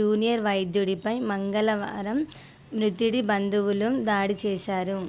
junior వైద్యుడిపై మంగళవారం మృతుడి బంధువులు దాడి చేశారు